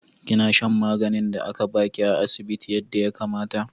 Kina shan maganin da aka ba ki a asibiti yadda ya kamata?